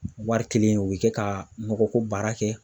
Wari kelen u bɛ kɛ ka nɔgɔ ko baara kɛ.